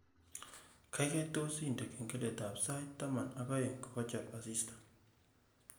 Gaigai tos indene kengeletab sait taman ak aeng kogachor asista